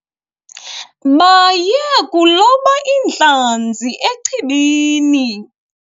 Baye kuloba iintlanzi echibini.